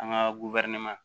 An ka